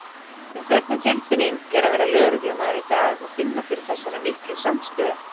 En hvernig tilfinning er að vera lögreglumaður í dag og finna fyrir þessari miklu samstöðu?